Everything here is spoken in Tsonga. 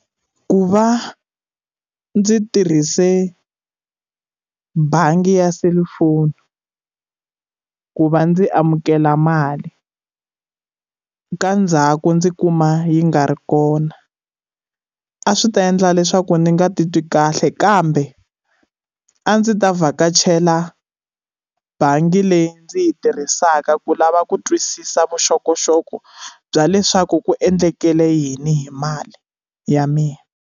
Ku va ndzi tirhise bangi ya selufoni ku va ndzi amukela mali ka ndzhaku ndzi kuma yi nga ri kona a swi ta endla leswaku ndzi nga titwi kahle kambe a ndzi ta vhakachela bangi leyi ndzi yi tirhisaka ku lava ku twisisa vuxokoxoko bya leswaku ku endlekele yini hi mali ya mina.